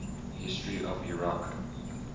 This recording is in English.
history of iraq